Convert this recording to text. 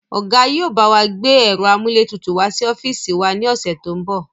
Ọ̀gá yìí ó bawa gbé ẹ̀rọ amúlétutù wá sí ọ́fíìsì wá ní ọ̀sẹ̀ to ń bọ̀